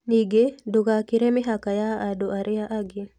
Ningĩ, ndugakĩre mĩhaka ya andũ arĩa angĩ.